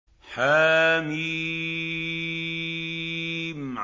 حم